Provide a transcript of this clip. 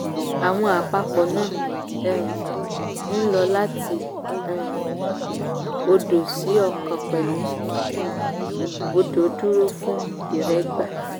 àwọn àpapọ̀ náà um ń lọ láti um òdo sí ọ̀kan pẹ̀lú um òdò dúró fún ìrẹ́gba.